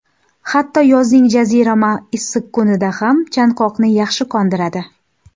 Hatto yozning jazirama issiq kunida ham, chanqoqni yaxshi qondiradi.